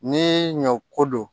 Ni ɲɔ ko don